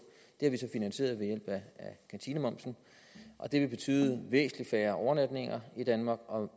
det har vi finansieret ved hjælp af kantinemomsen og det vil betyde væsentlig flere overnatninger i danmark og